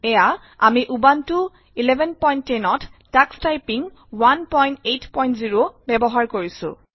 এয়া আমি উবুনটো 1110 ত টাক্স টাইপিং 180 ব্যৱহাৰ কৰিছো